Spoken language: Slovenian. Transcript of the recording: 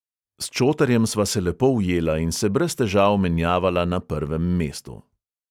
S čotarjem sva se lepo ujela in se brez težav menjavala na prvem mestu.